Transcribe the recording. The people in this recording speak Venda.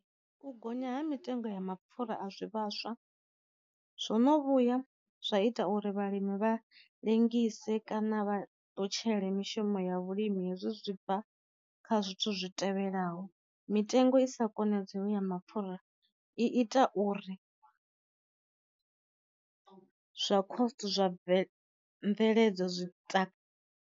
U gonya ha mitengo ya mapfura a zwi vhaswa zwono vhuya zwa ita uri vhalimi vha lengise kana vha ṱutshele mishumo ya vhulimi hezwi zwi bva kha zwithu zwi tevhelaho, mitengo i sa konedzeyo ya mapfura i ita uri zwa coast zwa bve mveledzo zwi ta.